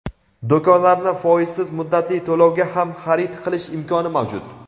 Do‘konlarni foizsiz muddatli to‘lovga ham xarid qilish imkoni mavjud.